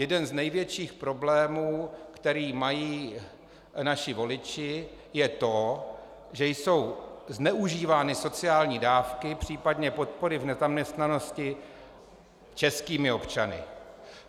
Jeden z největších problémů, které mají naši voliči, je to, že jsou zneužívány sociální dávky, případně podpory v nezaměstnanosti českými občany.